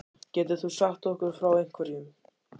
Getur þú sagt okkur frá einhverjum?